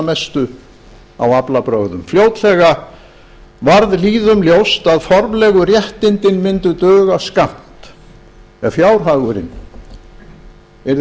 mestu á aflabrögðum fljótlega varð lýðum ljóst að formlegu réttindin myndu duga skammt ef fjárhagurinn yrði